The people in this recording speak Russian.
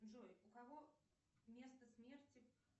джой у кого место смерти